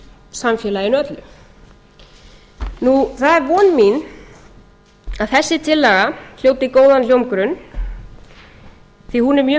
samfélaginu öllu það er von mín að þessi tillaga hljóti góðan hljómgrunn því að hún er mjög